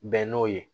Bɛn n'o ye